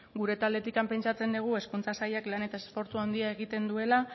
gure taldetik pentsatzen dugu hezkuntza sailak lan eta esfortzu handia egiten duela